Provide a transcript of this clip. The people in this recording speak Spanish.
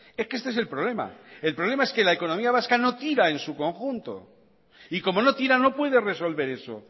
es que este es el problema el problema es que la economía vasca no tira en su conjunto y como no tira no puede resolver eso